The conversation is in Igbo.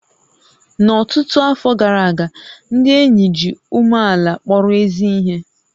N'ọtụtụ afọ gara aga, ndị ényì ji umeàlà kpọrọ ézí ihé